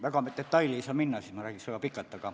Väga detailidesse ma ei saa minna, siis ma räägiks väga pikalt.